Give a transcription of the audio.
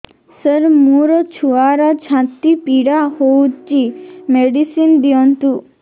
ସାର ମୋର ଛୁଆର ଛାତି ପୀଡା ହଉଚି ମେଡିସିନ ଦିଅନ୍ତୁ